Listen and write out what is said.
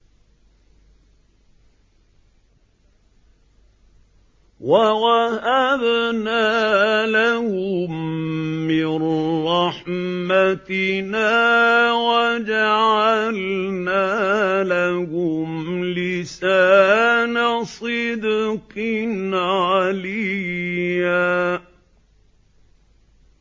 وَوَهَبْنَا لَهُم مِّن رَّحْمَتِنَا وَجَعَلْنَا لَهُمْ لِسَانَ صِدْقٍ عَلِيًّا